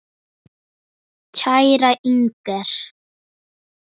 Þessum þarna!